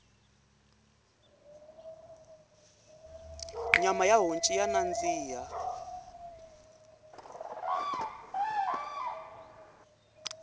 nyama ya honci ya nandziha